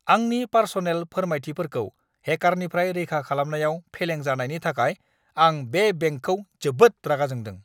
आंनि पार्सनेल फोरमायथिफोरखौ हेकारफोरनिफ्राय रैखा खालामनायाव फेलें जानायनि थाखाय आं बे बेंकखौ जोबोद रागा जोंदों!